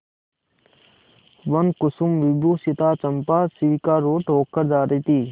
वनकुसुमविभूषिता चंपा शिविकारूढ़ होकर जा रही थी